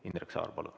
Indrek Saar, palun!